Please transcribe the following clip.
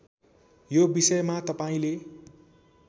यो बिषयमा तपाईँंले